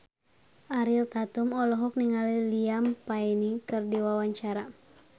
Ariel Tatum olohok ningali Liam Payne keur diwawancara